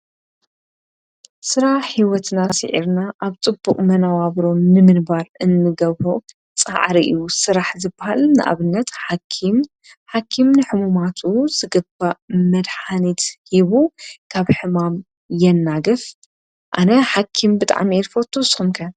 ሥራ ሕይወትና ስዒርና ኣብ ጽቡቕ መናዋብሮ ንምንባር እንገበ ፀዓርእዩ ሥራሕ ዝበሃል ኣብነት ሓኪም ሓኪም ንሕሙማቱ ዝግባ መድኒት ሂቡ ካብ ሕማም የናግፍ ኣነ ሓኪም ብጣም የርፈቱ ሶምከን?